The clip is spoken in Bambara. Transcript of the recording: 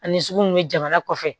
Ani sugu mun be jamana kɔfɛ